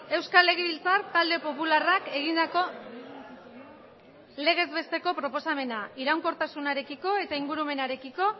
euskal legebiltzar talde popularrak egindako legez besteko proposamena iraunkortasunarekiko eta ingurumenarekiko